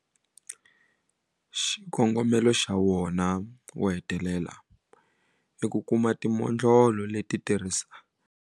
Xikongomelo xa wona xo hetelela i ku kuma timodlolo leti ti tirhaka.